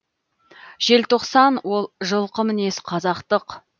желтоқсан ол жылқы мінез қазақтық